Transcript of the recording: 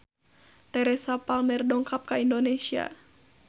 Teresa Palmer dongkap ka Indonesia